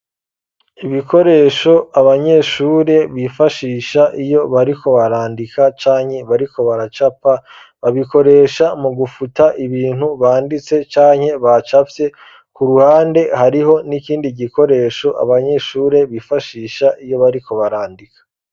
Ibikoresho abanyeshure bifashisha iyo bariko barandika canye bariko baracapa babikoresha mu gufuta ibintu banditse canke bacavye ku ruhande hariho n'ikindi gikoresho abanyeshure bifashisha iyo bariko barandika.